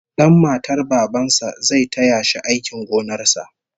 Dan matar baban sa zai taya shi aikin gonar sa